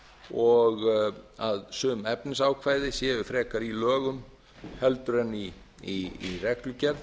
og að sum efnisákvæði séu frekar í lögum heldur en í reglugerð